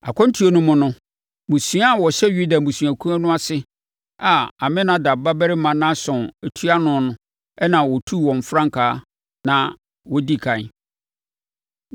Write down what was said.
Akwantuo no mu no, mmusua a wɔhyɛ Yuda abusuakuo no ase, a Aminadab babarima Nahson tua ano na ɔtu wɔn frankaa na wɔdi ɛkan.